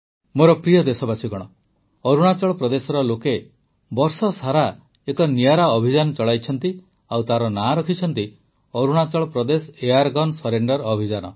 ମୋର ପ୍ରିୟ ଦେଶବାସୀଗଣ ଅରୁଣାଚଳ ପ୍ରଦେଶର ଲୋକେ ବର୍ଷସାରା ଏକ ନିଆରା ଅଭିଯାନ ଚଳାଇଛନ୍ତି ଆଉ ତା ନାଁ ରଖିଛନ୍ତି ଅରୁଣାଚଳ ପ୍ରଦେଶ ଏୟାର୍ଗନ୍ ସରେଣ୍ଡର୍ ଅଭିଯାନ